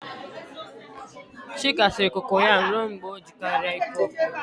Chika siere kokoyam ruo mgbe ọ dị njikere ịkụ ọkpọ.